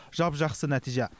жап жақсы нәтиже